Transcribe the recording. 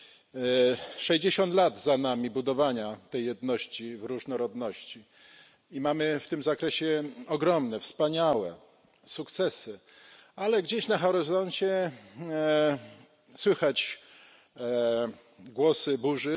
Za nami sześćdziesiąt lat budowania tej jedności w różnorodności i mamy w tym zakresie ogromne, wspaniałe sukcesy, ale gdzieś na horyzoncie słychać głosy burzy.